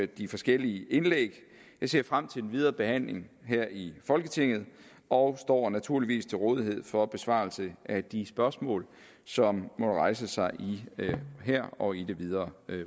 de forskellige indlæg jeg ser frem til den videre behandling her i folketinget og står naturligvis til rådighed for besvarelse af de spørgsmål som måtte rejse sig her og i det videre